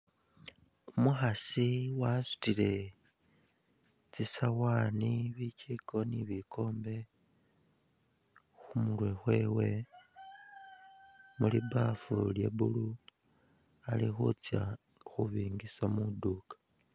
Umukhaasi wasutile tsi'sawaani ,bijjiko ni bikombe khumurwe khwewe mu li baffu lye blue ,ali khutsya khubingisa mwiduuka